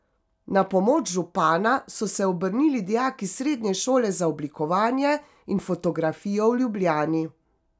Na pomoč župana so se obrnili dijaki Srednje šole za oblikovanje in fotografijo v Ljubljani.